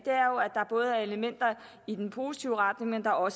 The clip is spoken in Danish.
er både er elementer i den positive retning og